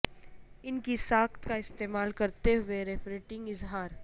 ان کی ساخت کا استعمال کرتے ہوئے ریفریٹنگ اظہار